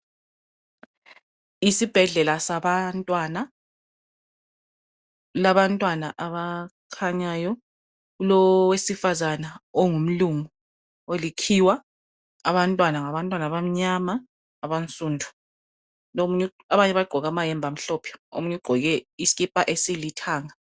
Isibhedlela sabantwana kulabantwana abakhanyayo owesifazana ongumlungu olikhiwa abantwana ngabantwana abamnyama aba nsundu abanye baqgoke amayembe amhlophe omunye uqgoke isikipa esilithanga